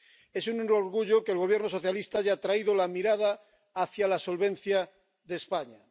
Es un orgullo que el Gobierno socialista haya atraído la mirada hacia la solvencia de España.